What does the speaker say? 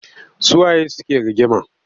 Su waye suke rigima?